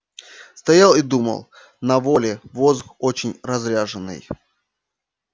стоял и думал на воле воздух очень разряженный